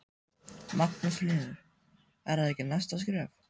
Magnús Hlynur: Er það ekki næsta skref?